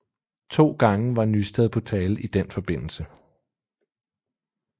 To gange var Nysted på tale i den forbindelse